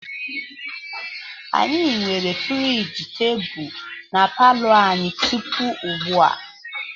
Anyị nwere friji tebụl na palo anyị tupu ugbu a.